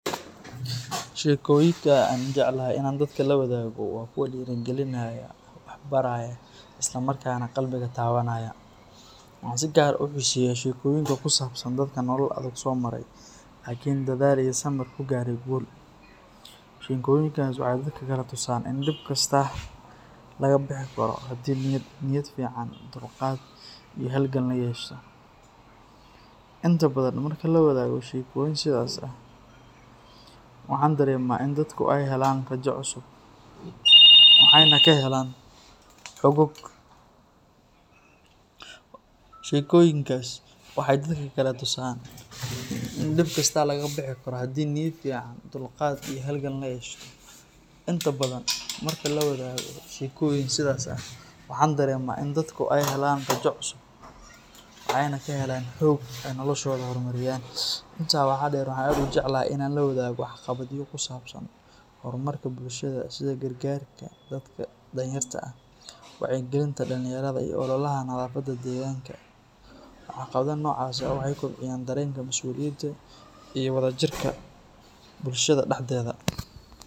Sheekoyinka aan jecelahay in aan dadka la wadaago waa kuwa dhiirigelinaya, wax baraya, isla markaana qalbiga taabanaya. Waxaan si gaar ah u xiiseeyaa sheekooyinka ku saabsan dadka nolol adag soo maray laakiin dadaal iyo samir ku gaadhay guul. Sheekooyinkaas waxay dadka kale tusaan in dhib kasta laga bixi karo haddii niyad fiican, dulqaad, iyo halgan la yeesho. Inta badan, markaan la wadaago sheekooyin sidaas ah, waxaan dareemaa in dadku ay helaan rajo cusub, waxayna ka helaan xoog ay noloshooda ku horumariyaan. Intaa waxaa dheer, waxaan aad u jecelahay in aan la wadaago waxqabadyo ku saabsan horumarka bulshada sida gargaarka dadka danyarta ah, wacyigelinta dhalinyarada, iyo ololaha nadaafadda deegaanka. Waxqabadyo noocaas ah waxay kobciyaan dareenka mas’uuliyadda iyo wadajirka bulshada dhexdeeda.